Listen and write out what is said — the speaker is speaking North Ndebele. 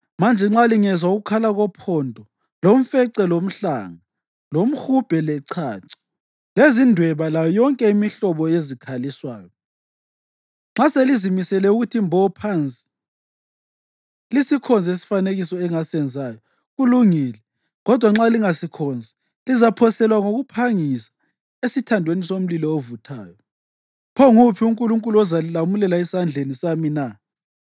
Manje nxa lingezwa ukukhala kophondo, lomfece, lomhlanga, lomhubhe, lechacho, lezindweba layo yonke imihlobo yezikhaliswayo, nxa selizimisele ukuthi mbo phansi lisikhonze isifanekiso engasenzayo, kulungile. Kodwa nxa lingasikhonzi lizaphoselwa ngokuphangisa esithandweni somlilo ovuthayo. Pho nguphi unkulunkulu ozalilamulela esandleni sami na?”